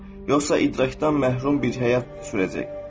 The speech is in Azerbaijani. Yoxsa idrakdan məhrum bir həyat sürəcək.